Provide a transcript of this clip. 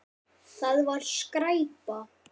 Það var skræpa.